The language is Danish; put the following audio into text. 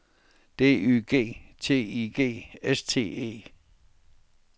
D Y G T I G S T E